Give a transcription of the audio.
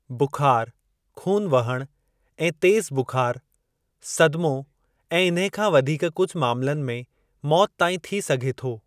बुखार, ख़ून वहण ऐं तेज़ु बुखारु, सदिमो ऐं इन्हे खां वधीक कुझु मामलनि में मौत ताईं थी सघे थो।